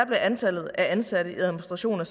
blev antallet af ansatte i administrationen